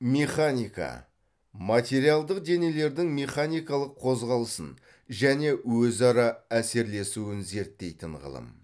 механика материалдық денелердің механикалық қозғалысын және өзара әсерлесуін зерттейтін ғылым